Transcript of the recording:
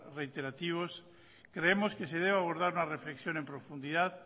reiterativos creemos que se debería abordar una reflexión en profundidad